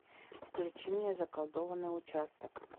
включи мне заколдованный участок